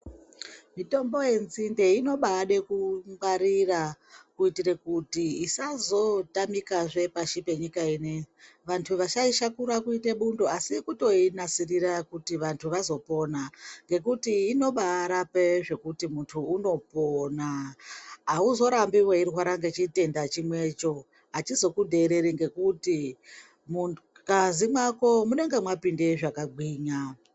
Mitombo yenzinde inobade kungwarira kuitire kuti isazotamikazve pasi penyika inoyi vantu vasaishakura kuita bundo asi kutoinasirisa kuti vantu vazopona ngekuti inobarape zvekuti muntu unopona auzorambi weirwara ngechitenda chimwecho achizokudhereri ngekuti mungazi mwako munenge mwapinde zvakagwimya.